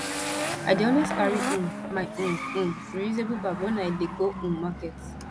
i dey always carry um my um um reusable bag wen i dey go um market